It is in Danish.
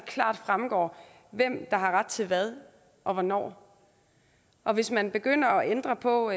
klart fremgår hvem der har ret til hvad og hvornår og hvis man begynder at ændre på